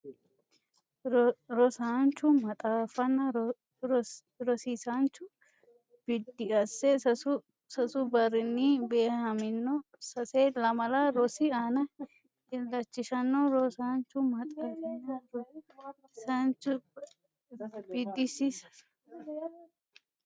Rosaanchu maxaafinna rosiisaancho biddiissi sasu sasu barrinni beehamino sase lamala rosi aana illachishanno Rosaanchu maxaafinna rosiisaancho biddiissi sasu sasu barrinni.